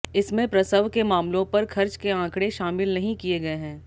इसमें प्रसव के मामलों पर खर्च के आंकड़े शामिल नहीं किए गए हैं